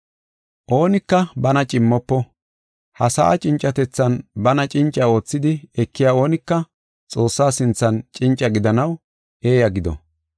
Oonika bana cimmofo. Ha sa7aa cincatethan bana cinca oothidi ekiya oonika Xoossaa sinthan cinca gidanaw eeya gido.